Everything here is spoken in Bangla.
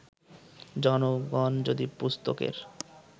জনগণ যদি পুস্তকের